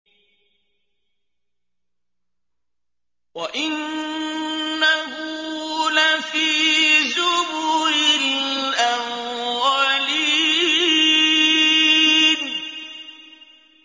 وَإِنَّهُ لَفِي زُبُرِ الْأَوَّلِينَ